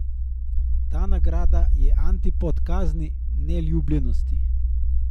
Ta nagrada je antipod kazni, neljubljenosti.